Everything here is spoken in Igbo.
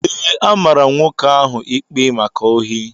Ee, a mara nwoke ahụ ikpe maka ohi